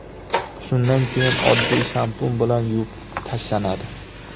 Shundan keyin oddiy shampun bilan yuvib tashlanadi.